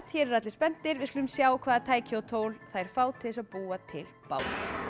hér eru allir spenntir við skulum sjá hvaða tæki og tól þær fá til þess að búa til bát